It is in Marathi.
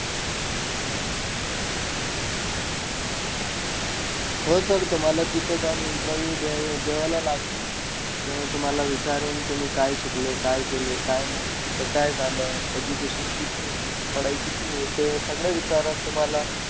हो sir तुम्हाला तिथं जाऊन Interview द्या द्यावाला लागीन. ते तुम्हाला विचारेन तुम्ही काय शिकलेयं, काय केलंय, काय नाई. तुमचं काय झालं. Education, कितनी तुमची पढाई ते सगळं विचारन तुम्हाला.